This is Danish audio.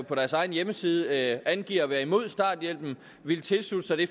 på deres egen hjemmeside angiver at være imod starthjælpen ville tilslutte sig det